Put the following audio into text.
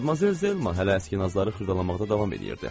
Madmazel Zelma hələ əski nazları xırdalamaqda davam eləyirdi.